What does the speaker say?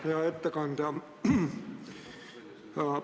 Hea ettekandja!